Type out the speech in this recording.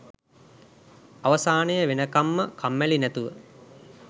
අවසානය වෙනකන්ම කම්මැලි නැතුව